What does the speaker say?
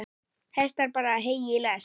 Hestar bera hey í lest.